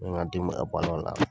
N bɛ n ka denbaya balo a la.